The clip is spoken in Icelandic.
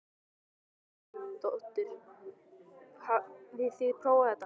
Hrund Þórsdóttir: Hafið þið prófað þetta?